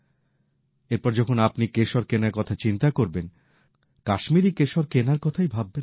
এরপর যখন আপনি কেশর কেনার কথা চিন্তা করবেন কাশ্মীরী কেশর কেনার কথাই ভাববেন